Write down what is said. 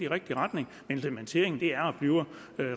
rigtige retning men implementeringen er og bliver